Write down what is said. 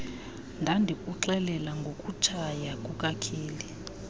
ndandikuxelela ngokutshaya kukakeli